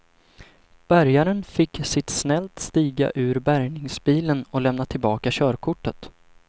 Bärgaren fick sitt snällt stiga ur bärgningsbilen och lämna tillbaka körkortet.